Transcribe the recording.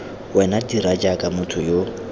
wena dira jaaka motho yo